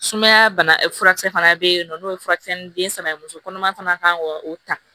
Sumaya bana furakisɛ fana bɛ yen nɔ n'o ye furakisɛ ni den saba ye muso kɔnɔma fana kan ka o ta